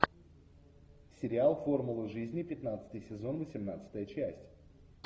сериал формула жизни пятнадцатый сезон восемнадцатая часть